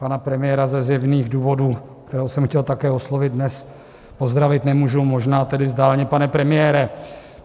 Pana premiéra ze zjevných důvodů, kterého jsem chtěl také oslovit, dnes pozdravit nemůžu, možná tedy vzdáleně, pane premiére.